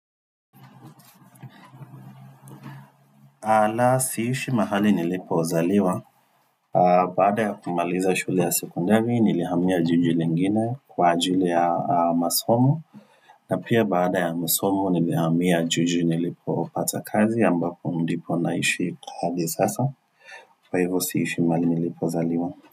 Ala siishi mahali nilipozaliwa, baada ya kumaliza shule ya sekondari nilihamia jiji lingine kwa ajili ya masomo na pia baada ya masomo nilihamia jiji nilipopata kazi ambapo ndipo naishi kwa hadi sasa, kwaivo siishi mahali nilipozaliwa.